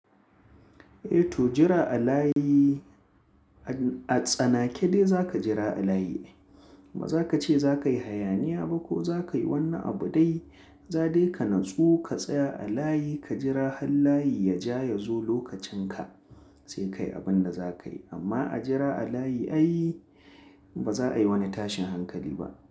Eh to jira a layi a tsanake dai za ka jira a layi. Ba za ka ce za ka yi hayaniya ba ko za ka yi wani abu dai. Za dai ka natsu ka tsaya a layi ka jira har layi ya ja ya zo lokacin ka sai ka yi abin da za ka yi. Amma a jira a layi ai ba za a yi wani tashin hankali ba.